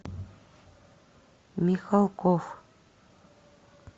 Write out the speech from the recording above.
михалков